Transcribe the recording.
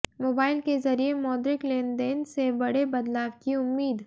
mobile के जरिए मौद्रिक लेन देन से बड़े बदलाव की उम्मीद